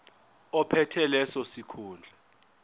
ophethe leso sikhundla